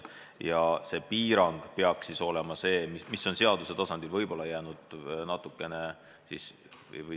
Ja need piirangud peaks olema seaduse tasandil kehtestatud.